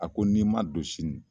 A ko n'i ma don sini